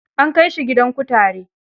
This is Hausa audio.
An kai shi gidan kutare.